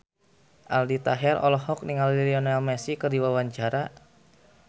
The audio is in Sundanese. Aldi Taher olohok ningali Lionel Messi keur diwawancara